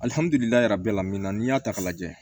minna n'i y'a ta k'a lajɛ